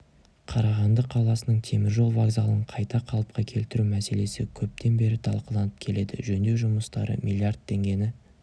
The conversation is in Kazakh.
қарағанды қаласының теміржол вокзалын қайта қалыпқа келтіру мәселесі көптен бері талқыланып келеді жөндеу жұмыстары миллиард теңгені